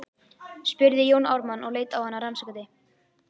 spurði Jón Ármann og leit á hana rannsakandi.